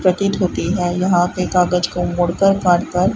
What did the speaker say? प्रतीत होती है यहां पे कागज को मोड़कर काटकर--